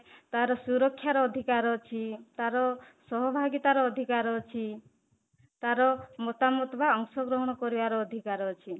ତାର ସୁରକ୍ଷାର ଅଧିକାର ଅଛି, ତାର ସହଭାଗିତା ର ଅଧିକାର ଅଛି, ତାର ବା ଅଂଶଗ୍ରହଣ କରିବାର ଅଧିକାର ଅଛି